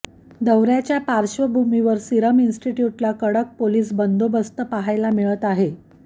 दौऱ्याच्या पार्श्वभूमीवर सिरम इन्स्टिट्यूटला कडक पोलीस बंदोबस्त पाहायला मिळत आहे